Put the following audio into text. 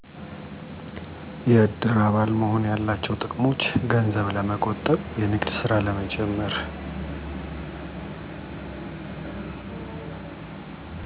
የእድር አባል መሆን ያላቸው ጥቅሞች ገንዘብ ለመቆጠብ፣ የንግድ ስራ ለመጀመር።